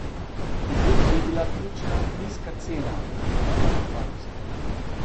Pri tem je bila ključna nizka cena, ne pa kakovost.